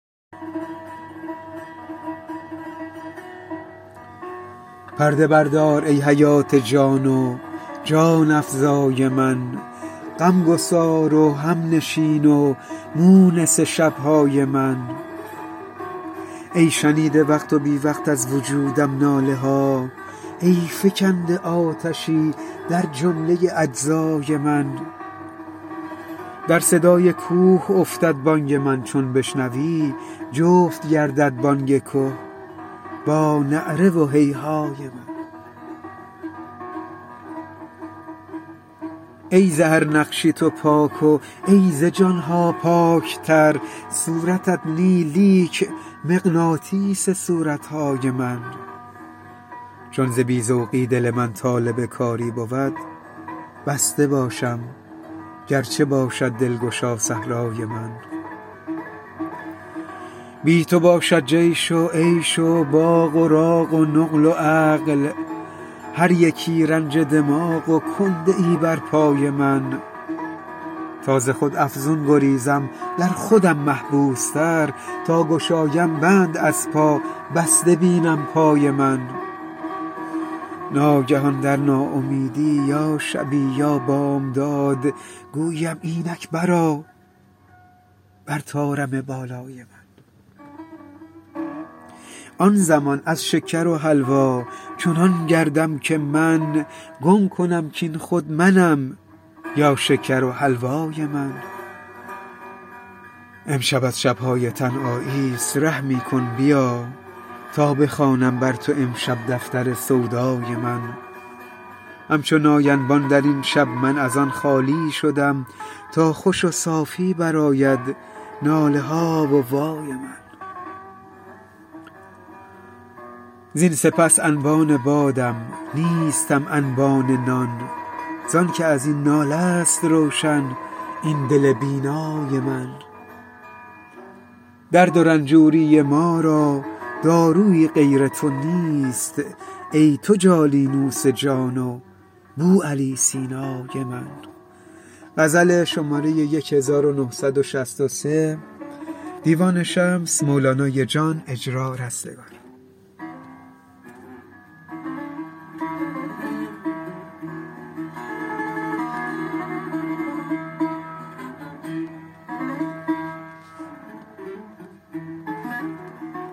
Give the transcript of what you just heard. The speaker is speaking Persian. پرده بردار ای حیات جان و جان افزای من غمگسار و همنشین و مونس شب های من ای شنیده وقت و بی وقت از وجودم ناله ها ای فکنده آتشی در جمله اجزای من در صدای کوه افتد بانگ من چون بشنوی جفت گردد بانگ که با نعره و هیهای من ای ز هر نقشی تو پاک و ای ز جان ها پاک تر صورتت نی لیک مغناطیس صورت های من چون ز بی ذوقی دل من طالب کاری بود بسته باشم گرچه باشد دلگشا صحرای من بی تو باشد جیش و عیش و باغ و راغ و نقل و عقل هر یکی رنج دماغ و کنده ای بر پای من تا ز خود افزون گریزم در خودم محبوس تر تا گشایم بند از پا بسته بینم پای من ناگهان در ناامیدی یا شبی یا بامداد گویی ام اینک برآ بر طارم بالای من آن زمان از شکر و حلوا چنان گردم که من گم کنم کاین خود منم یا شکر و حلوای من امشب از شب های تنهایی است رحمی کن بیا تا بخوانم بر تو امشب دفتر سودای من همچو نای انبان در این شب من از آن خالی شدم تا خوش و صافی برآید ناله ها و وای من زین سپس انبان بادم نیستم انبان نان زان کازاین ناله است روشن این دل بینای من درد و رنجوری ما را داروی غیر تو نیست ای تو جالینوس جان و بوعلی سینای من